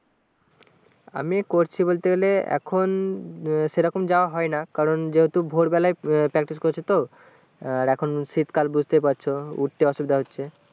আমি করছি বলতে গেলে এখন সেরকম যাওয়াহয়না কারণ যেহুতু ভোরবেলায় practice করছে তো এখন শীত কাল বুজতে পারছো উঠতে অসুবিদা হচ্ছে